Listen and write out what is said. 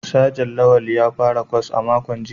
Sajan Lawal ya fara kwas a makon jiya